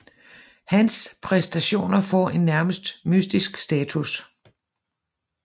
Hans præstationer har fået en nærmest mystisk status